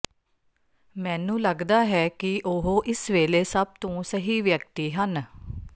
ਮੈਨੂੰ ਲੱਗਦਾ ਹੈ ਕਿ ਉਹ ਇਸ ਵੇਲੇ ਸਭ ਤੋਂ ਸਹੀ ਵਿਅਕਤੀ ਹਨ